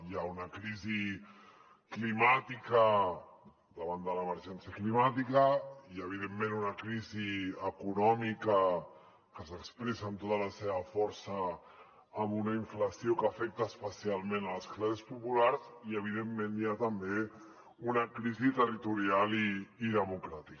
hi ha una crisi climàtica davant de l’emergència climàtica hi ha evidentment una crisi econòmica que s’expressa amb tota la seva força amb una inflació que afecta especialment les classes populars i evidentment hi ha també una crisi territorial i democràtica